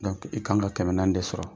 i kan ka kɛmɛ naani de sɔrɔ.